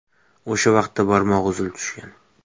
O‘sha vaqtda barmog‘i uzilib tushgan.